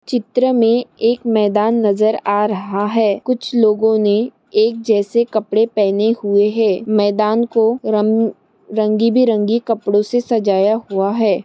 चित्र मे एक मैदान नजर आ रहा है। कुछ लोगोने एक जैसे कपड़े पहने हुए है। मैदान को रम रंगी बिरंगी कपड़ो से सजाया हुआ है।